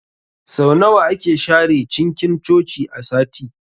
Sau nawa ake share cinkin Coci a sati?